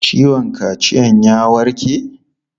Ciwon kaciyan ya warke?